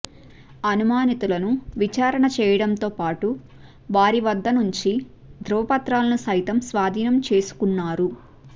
అనుమానితులను విచారణ చేయడంతో పాటు వారి వద్ద నుంచి ధ్రువపత్రాలను సైతం స్వాధీనం చేసుకున్నారు